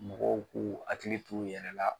Mɔgɔw k'u hakili t'u yɛrɛ la.